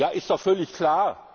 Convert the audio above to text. Ja, ist doch völlig klar.